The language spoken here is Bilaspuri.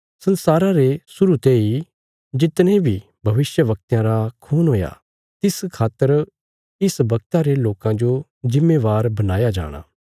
संसारा रे शुरु तेई जितने बी भविष्यवक्तयां रा खून हुया तिस खातर इस बगता रे लोकां जो जिम्मेवार बणाया जाणा